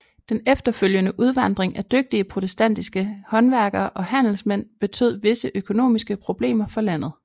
Den efterfølgende udvandring af dygtige protestantiske håndværkere og handelsmænd betød visse økonomiske problemer for landet